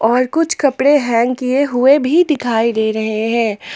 और कुछ कपड़े हैंग किए हुए भी दिखाई दे रहे हैं।